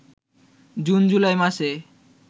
June জুলাই মাসে